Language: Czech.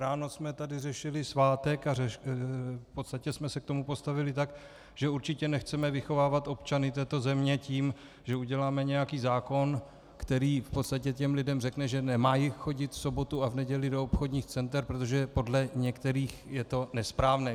Ráno jsme tady řešili svátek a v podstatě jsme se k tomu postavili tak, že určitě nechceme vychovávat občany této země tím, že uděláme nějaký zákon, který v podstatě těm lidem řekne, že nemají chodit v sobotu a v neděli do obchodních center, protože podle některých je to nesprávné.